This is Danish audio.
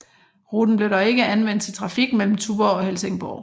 Ruten blev dog ikke anvendt til trafik mellem Tuborg og Helsingborg